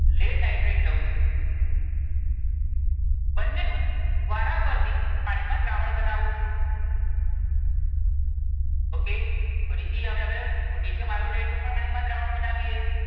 lead nitrate લઉં છું. બંને નું વારાફરતી પાણી માં દ્રાવણ બનાવું છું. okay ફરીથી આપણે હવે potassium iodide નું પાણી માં દ્રાવણ બનાવીએ.